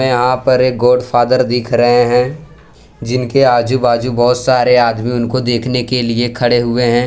यहां पर एक गॉडफादर दिख रहे हैं जिनके आजू बाजू बहोत सारे आदमी उनको देखने के लिए खड़े हुए हैं।